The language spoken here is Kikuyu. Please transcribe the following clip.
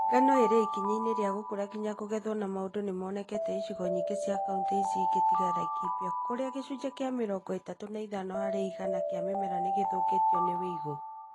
Ngano ĩrĩ ikinya inĩ rĩa gũkũra nginya kũgethwo na maũndũ nĩmonekete icigo nyingĩ cia kauntĩ icio ingĩ tiga Laikipia kũrĩa gĩcunjĩ kĩa mĩrongo ĩtatũ na ithano harĩ igana kĩa mĩmera nĩgĩthũkĩtio nĩ ũigũ